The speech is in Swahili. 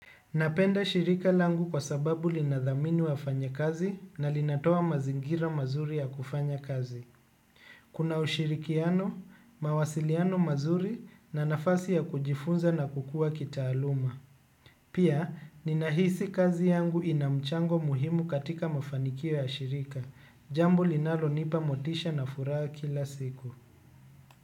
Napenda shirika langu kwa sababu linadhamini wafanya kazi na linatoa mazingira mazuri ya kufanya kazi. Kuna ushirikiano, mawasiliano mazuri na nafasi ya kujifunza na kukua kitaaluma. Pia, ninahisi kazi yangu ina mchango muhimu katika mafanikio ya shirika. Jambo linalonipa motisha na furaha kila siku.